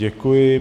Děkuji.